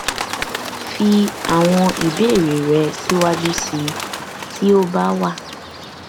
fi àwọn ìbéèrè rẹ síwájú sí i tí ó bá wà